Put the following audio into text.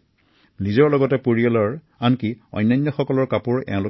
তেওঁলোকে নিজৰ লগতে আন পৰিয়ালৰ বাবে সাধাৰণৰ পৰা আৰম্ভ কৰি উন্নত মানৰ কাপোৰ